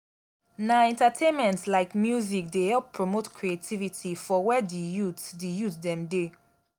na entertainment like music dey help promote creativity for where di youth di youth dem dey.